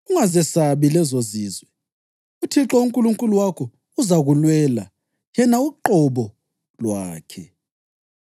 Ungazesabi lezozizwe, uThixo uNkulunkulu wakho uzakulwela yena uqobo lwakhe.’